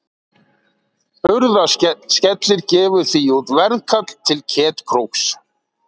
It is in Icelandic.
Hurðaskellir gefur því út veðkall til Ketkróks.